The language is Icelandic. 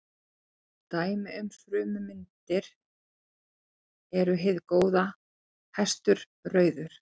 Dæmi um frummyndir eru hið góða, hestur, rauður.